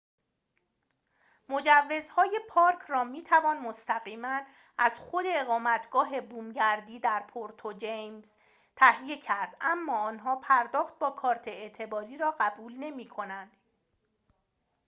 مجوزهای پارک را می‌توان مستقیماً از خود اقامتگاه بومگردی در پورتو جیمنز تهیه کرد اما آنها پرداخت با کارت اعتباری را قبول نمی‌کنند